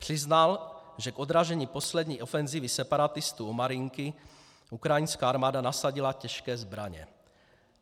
Přiznal, že k odražení poslední ofenzívy separatistů u Marinky ukrajinská armáda nasadila těžké zbraně.